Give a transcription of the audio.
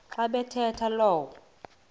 xa bathetha lo